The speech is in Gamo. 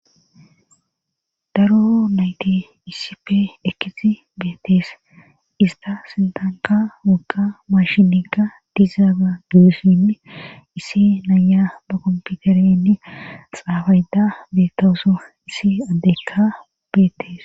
Daro nayti isipe ekkisi beettees ista sintanka wogqa mashinika dizaaga guesinne issi naya ba kompiterenni xaabayda beettaso issi addekka beettees.